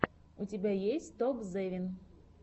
у тебя есть топзевин